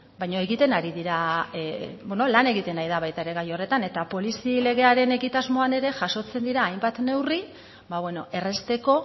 baina egiten ari dira beno lan egiten ari da baita ere gai horretan eta polizi legearen egitasmoan ere jasotzen dira hainbat neurri ba beno errazteko